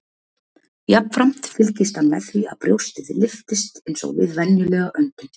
Jafnframt fylgist hann með því að brjóstið lyftist eins og við venjulega öndun.